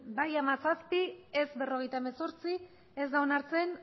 bai hamazazpi ez berrogeita hemezortzi ez da onartzen